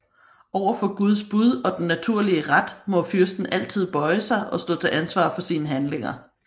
Over for Guds bud og den naturlige ret må fyrsten altid bøje sig og stå til ansvar for sine handlinger